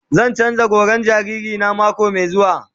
Zan canza goran jariri na mako mai zuwa.